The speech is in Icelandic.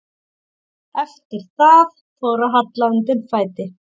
Eftir það fór að halla undan fæti.